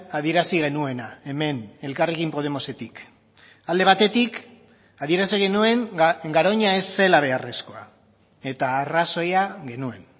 adierazi genuena hemen elkarrekin podemosetik alde batetik adierazi genuen garoña ez zela beharrezkoa eta arrazoia genuen